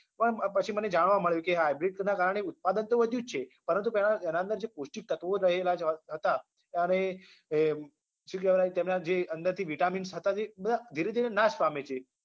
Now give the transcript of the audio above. પણ પછી મને જાણવા મળ્યું કે hybrid ના કારણે ઉત્પાદન તો વધ્યું જ છે પરંતુ તેના એના અંદર જે પૌષ્ટિક તત્વો રહેલા હતા અરે શું કહેવાય તેમના જે અંદરથી vitamins હતા જે બધા ધીરે ધીરે નાશ પામે છે